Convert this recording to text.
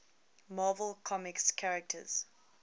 marvel comics characters